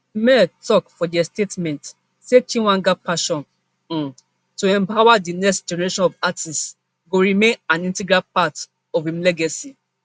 mla tok for dia statement say chweneyagae passion um to empower di next generation of artists go remain an integral part of im legacy